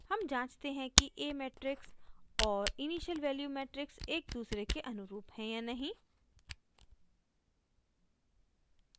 हम जाँचते हैं कि a मेट्रिक्स और इनिशियल वैल्यूज़ मेट्रिक्स एक दूसरे के अनुरूप है या नहीं